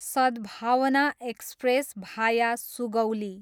सद्भावना एक्सप्रेस, भाया सुगौली